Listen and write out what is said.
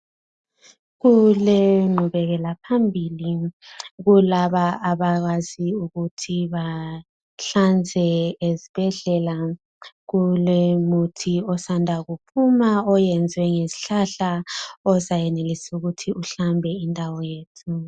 Kulenqubekela phambili kulaba abakwazi ukuthi bahlanze esibhedlela kulomuthi osanda kuphuma oyezwe ngesihlahla ozayenelisa ukuthi uhlambe indawo yethu.